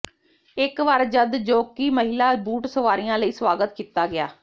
ਇੱਕ ਵਾਰ ਜਦ ਜੌਕੀ ਮਹਿਲਾ ਬੂਟ ਸਵਾਰੀਆਂ ਲਈ ਸਵਾਗਤ ਕੀਤਾ ਗਿਆ